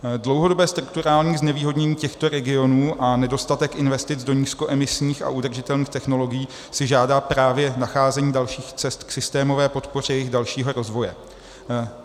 Dlouhodobé strukturální znevýhodnění těchto regionů a nedostatek investic do nízkoemisních a udržitelných technologií si žádá právě nacházení dalších cest k systémové podpoře jejich dalšího rozvoje.